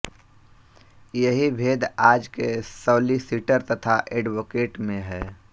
यही भेद आज के सौलिसिटर तथा ऐडवोकेट में है